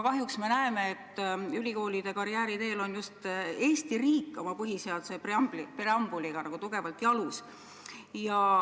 Kahjuks me näeme, et Eesti riik oma põhiseaduse preambuliga on ülikoolide karjääriteel nagu tugevalt jalus.